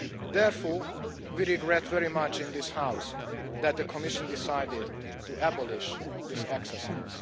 Therefore, we regret very much in this house that the Commission decided to abolish this exercise.